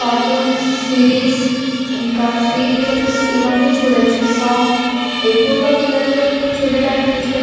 ఎక్కువగా పిల్లలు చుడానికి విఅన్నైకి మనకి పని చేస్తూనే --